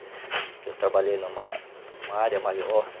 Porque eu trabalhei em uma, em uma área maior, né?